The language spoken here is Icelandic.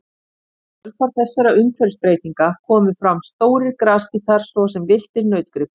Í kjölfar þessara umhverfisbreytinga komu fram stórir grasbítar svo sem villtir nautgripir.